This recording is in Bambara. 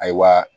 Ayiwa